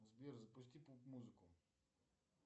сбер запусти поп музыку